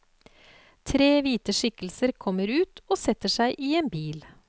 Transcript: Tre hvite skikkelser kommer ut og setter seg i en bil.